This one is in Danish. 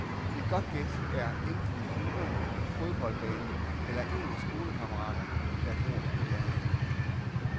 Et godt gæt er enten hulerne, fodboldbanen eller en af skolekammeraterne, der bor i nærheden.